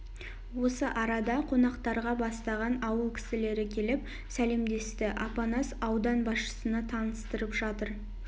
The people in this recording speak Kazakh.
осы арада қонақтарға бастаған ауыл кісілері келіп сәлемдесті апанас аудан басшысына таныстырып жатыр